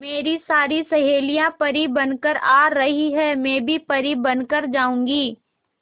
मेरी सारी सहेलियां परी बनकर आ रही है मैं भी परी बन कर जाऊंगी